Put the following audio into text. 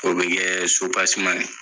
O be kɛ sopaseman ye